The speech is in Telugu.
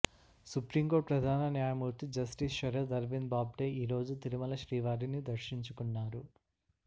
సుప్రీంకోర్టు ప్రధాన న్యాయమూర్తి జస్టిస్ శరద్ అరవింద్ బాబ్డే ఈ రోజు తిరుమల శ్రీవారిని దర్శించుకున్నారు